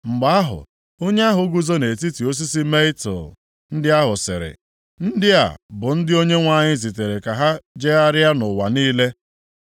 Mgbe ahụ onye ahụ guzo nʼetiti osisi mietul ndị ahụ sịrị, “Ndị a bụ ndị Onyenwe anyị zitere ka ha jegharịa nʼụwa niile.”